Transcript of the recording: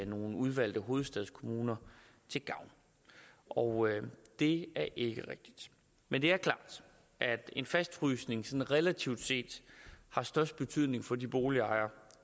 nogle udvalgte hovedstadskommuner til gavn og det er ikke rigtigt men det er klart at en fastfrysning sådan relativt set har størst betydning for de boligejere